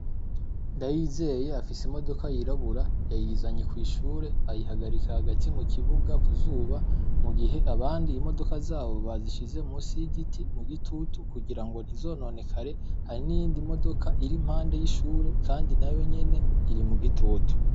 Ndayizeye afise imodoka yirabura; yayizanye kw’ishure, ayihagarika hagati mu kibuga, ku zuba. Mu gihe abandi imodoka zabo bazishize musi y’igiti, mu gitutu, kugira ngo ntizononekare. Hari n’iyindi modoka iri impande y’ishure, kandi nayo nyene iri mu gitutu.